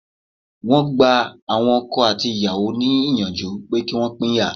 Wọ́n gba àwọn ọkọ àti ìyàwó ní ìyànjú pé kí Wọ́n pínyà.